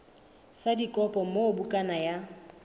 sa dikopo moo bukana ya